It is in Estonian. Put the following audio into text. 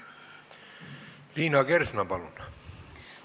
Liina Kersna, palun!